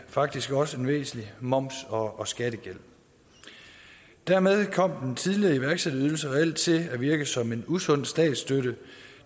faktisk også en væsentlig moms og og skattegæld dermed kom den tidligere iværksætterydelse reelt til at virke som en usund statsstøtte